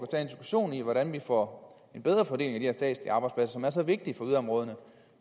hvordan vi får en bedre fordeling af statslige arbejdspladser som er så vigtige for yderområderne